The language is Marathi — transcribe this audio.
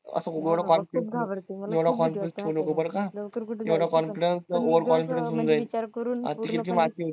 असा एवढा confidence ठेऊ नको बरका एवढा confidence overconfidence होऊन जाईल